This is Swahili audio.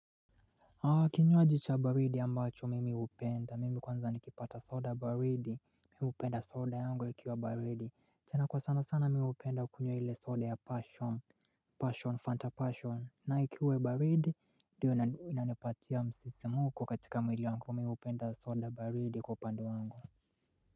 Kinywaji cha baridi ambacho mimi hupenda, mimi kwanza nikipata soda baridi mimi hupenda soda yangu ikiwa baridi, tena kwa sana sana mimi hupenda kunywa ile soda ya passion Passion, fanta passion na ikiwa baridi ndio inanipatia msisimko katika mwili wangu, mimi hupenda soda baridi kwa upande wangu.